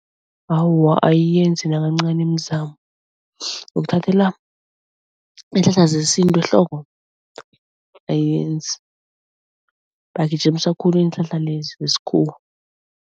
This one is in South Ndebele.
Awa ayiyenzi nakancani imizamo. iinhlahla zesintu ehloko, ayenzi. Bagijimisa khulu iinhlahla lezi zesikhuwa.